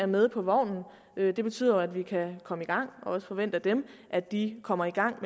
med på vognen det betyder jo at vi kan komme i gang og også forvente af dem at de kommer i gang